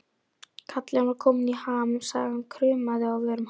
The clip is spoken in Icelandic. Kallinn var kominn í ham, sagan kraumaði á vörum hans.